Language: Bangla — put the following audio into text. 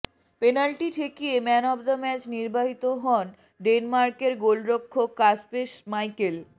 পেনাল্টি ঠেকিয়ে ম্যান অব দ্যা ম্যাচ নির্বাচিত হন ডেনমার্কের গোলরক্ষক কাসপেস স্মাইকেল